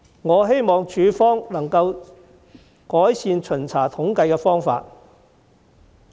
我希望處方能改善巡查統計的方法。